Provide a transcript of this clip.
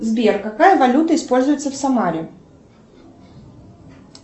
сбер какая валюта используется в самаре